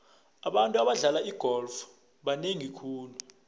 abantu abadlala igolf banengi khulu